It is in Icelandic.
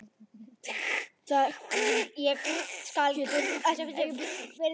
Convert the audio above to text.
Það er af því að þú getur ekki breyst.